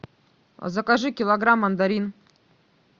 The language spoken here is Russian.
закажи килограмм мандарин